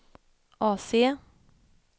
AC